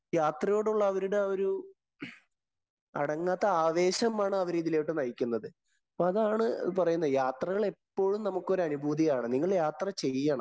യാത്രയോടുള്ള അവരുടെ ഒരു അടങ്ങാത്ത ആവേശമാണ് അവരെ ഇതിലോട്ട് നയിക്കുന്നത്. അപ്പൊ അതാണ് പറയുന്നത്. യാത്രകള്‍ എപ്പോഴും നമുക്ക് ഒരു അനുഭൂതിയാണ്.. നിങ്ങള്‍ യാത്ര ചെയ്യണം.